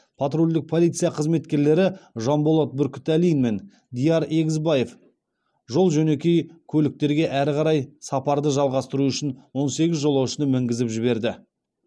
патрульдік полиция қызметкерлері жанболат бүркітәлин мен диар егізбаев жол жөнекей көліктерге әрі қарай сапарды жалғастыру үшін он сегіз жолаушыны мінгізіп жіберді